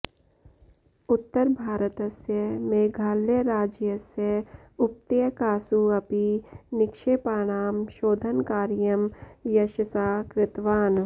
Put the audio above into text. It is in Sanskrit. उत्तरभारतस्य मेघालयराज्यस्य उपत्यकासु अपि निक्षेपानां शोधनकार्यं यशसा कृतवान्